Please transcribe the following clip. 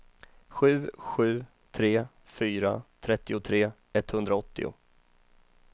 sju sju tre fyra trettiotre etthundraåttio